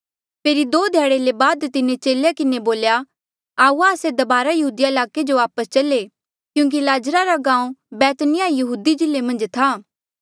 फेरी दो ध्याड़े ले बाद तिन्हें चेलेया किन्हें बोल्या कि आऊआ आस्से दबारा यहूदिया ईलाके जो वापस चल्हा ऐें क्यूंकि लाजरा रा गांऊँ बैत्नीयाह यहूदी जिल्ले मन्झ था